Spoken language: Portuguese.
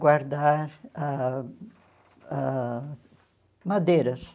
guardar ãh ãh madeiras.